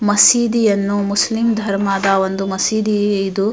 ಮಸೀಧಿ ಯನ್ನು ಮುಸ್ಲಿಂ ಧರ್ಮದ ಒಂದು ಮಸೀಧಿ ಇದು --